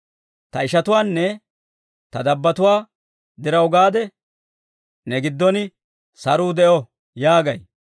Ta ishatuwaanne ta dabbotuwaa diraw gaade, «Ne giddon saruu de'o!» yaagay.